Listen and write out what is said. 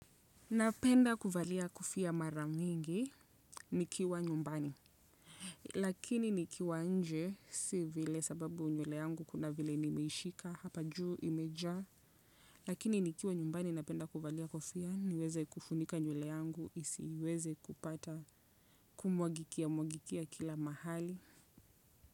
Napenda kuvalia kofia mara mingi nikiwa nyumbani. Lakini nikiwa nje si vile sababu nywele yangu kuna vile nimeishika hapa juu imejaa. Lakini nikiwa nyumbani napenda kuvalia kofia niweze kufunika nywele yangu isiweze kupata kumwagikia mwagikia kila mahali.